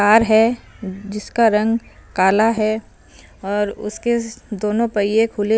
car जिसका रंग काला है और उसके दोनों पईये खुले--